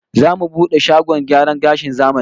Zamu bude shagon gyaran gashin zamani